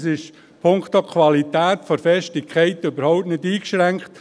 Es ist punkto Qualität von der Festigkeit her überhaupt nicht eingeschränkt.